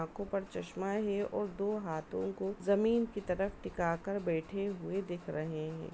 आखों पर चश्मा है और दो हाथों को जमीन की तरफ टीका कर बैठे हुए दिख रहे हैं।